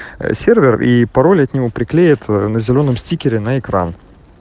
сервер и пароль от него приклеит на зелёном стикере на экран